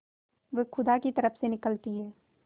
वह खुदा की तरफ से निकलती है